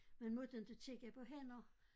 Man måtte inte kigge på hænder